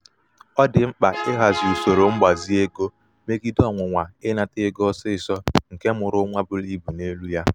ọ dị mkpa ịhazi usoro mgbazi ego megide ọnwụnwa ịnata ego ọsịsọ nke mmụrụnwa buru ibu n'elu ya.